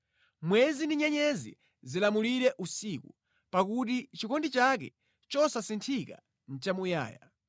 Mwezi ndi nyenyezi zilamulire usiku, pakuti chikondi chake chosasinthika nʼchamuyaya.